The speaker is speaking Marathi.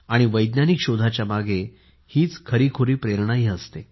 वैज्ञानिक शोधाच्या मागे ही खरी खुरी प्रेरणाही असते